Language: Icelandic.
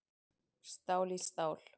Stál í stál